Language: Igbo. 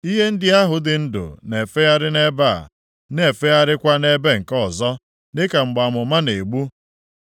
Ihe ndị ahụ dị ndụ na-efegharị nʼebe a, na-efegharịkwa nʼebe nke ọzọ, dịka mgbe amụma na-egbu.